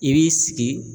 I b'i sigi